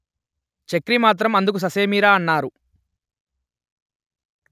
చక్రి మాత్రం అందుకు ససేమిరా అన్నారు